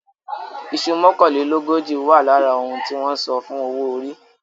Iṣu mọ́kànlélógójì wà lára ohun tí wọ́n san fún owó orí.